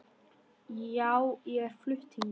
Já, ég er flutt hingað.